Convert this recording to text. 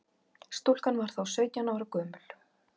Stúlkan var þá sautján ára gömul